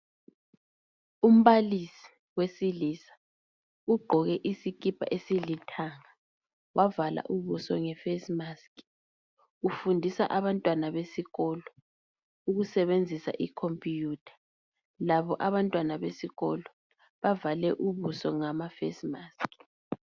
Umbalisi wesilisa ugqoke isikipa esilithanga wavala ubuso nge face mask, ufundisa abantwana besikolo ukusebenzisa i computer. Labo abantwana besikolo bavale ubuso ngama face mask.